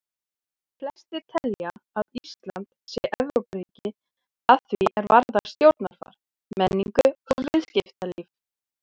Flestir telja að Ísland sé Evrópuríki að því er varðar stjórnarfar, menningu og viðskiptalíf.